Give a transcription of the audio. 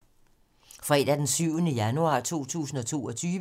Fredag d. 7. januar 2022